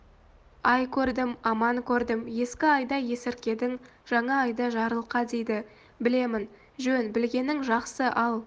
ай көрдім аман көрдім ескі айда есіркедің жаңа айда жарылқа дейді білемін жөн білгенің жақсы ал